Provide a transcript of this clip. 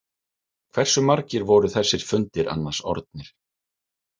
Hversu margir voru þessir fundir annars orðnir?